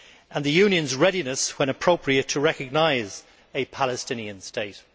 and the Union's readiness, when appropriate, to recognise a Palestinian state.